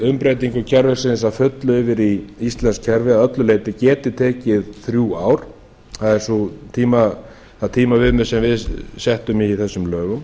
umbreytingu kerfisins að fullu yfir í íslenskt kerfi að öllu leyti geti tekið þrjú ár það er það tímaviðmið sem við settum í þessum lögum